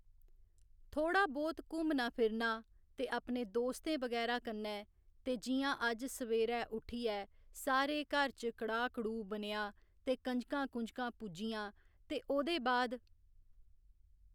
थोह्‌ड़ा बहुत घूमना फिरना ते अपने दोस्तें बगैरा कन्नै ते जि'यां अज्ज सवेरै उठियै सारे घर च कढ़ा कढ़ू बनेआ ते कंजकां कूजकां पूज्जियां ते ओह्दे बाद